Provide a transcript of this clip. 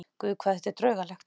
Guð, hvað þetta er draugalegt.